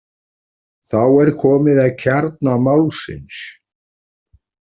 Þá er komið að kjarna málsins.